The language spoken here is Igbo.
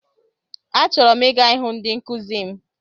Achọrọ m ịga ịhụ ndị nkụzi m.